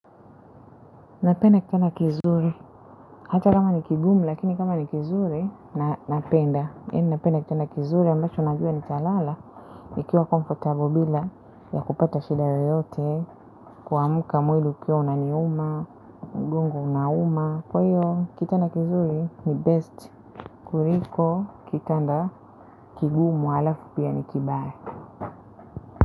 Napenda kitanda kizuri. Hata kama ni kigumu lakini kama ni kizuri, napenda. Napenda kitanda kizuri ambacho najua nitalala. Nikiwa comfortable bila ya kupata shida yoyote, kuamka mwili ukiwa unaniuma, mgongo unauma. Kwa hivyo, kitanda kizuri ni best. Kuliko, kitanda kigumu halafu pia ni kibaya.